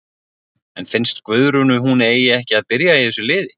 En finnst Guðrúnu hún eigi ekki að byrja í þessu liði?